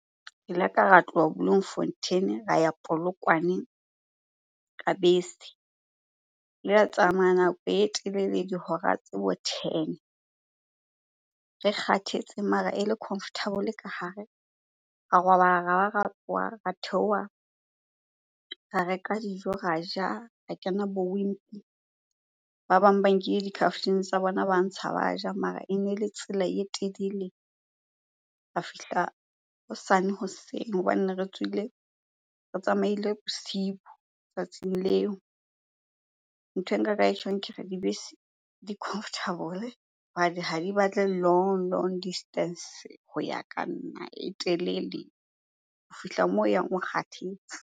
Ke ile ka ra tloha Bloemfontein-e ra ya Polokwane ka bese. La tsamaya nako e telele dihora tse bo ten. Re kgathetse mare e le comfortable ka hare. Ra robala, ra ba ra tsowa, ra theoha, ra reka dijo ra ja, ra kena bo Wimpy. Ba bang ba nkile di-carftin tsa bona, ba ntsha ba ja mara ene le tsela e telele, ra fihla hosane hoseng hobane ne re tsohile, re tsamaile bosibu tsatsing leo. Nthwe nka ka e tjhong ke re, dibese di comfortable hobane ha di batle long long distance. Ho ya ka nna e telele ho fihla moo o yang o kgathetse.